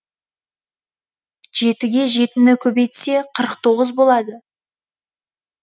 жетіге жетіні көбейтсе қырық тоғыз болады